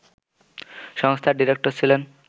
সংস্থার ডিরেক্টর ছিলেন